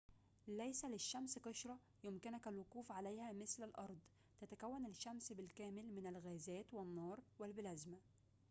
ليس للشمس قشرة يمكنك الوقوف عليها مثل الأرض تتكون الشمس بالكامل من الغازات والنار والبلازما